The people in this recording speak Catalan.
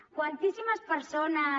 quantíssimes persones